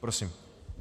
Prosím.